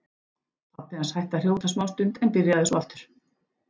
Pabbi hans hætti að hrjóta smástund en byrjaði svo aftur.